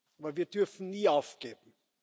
Aber wir dürfen nie aufgeben.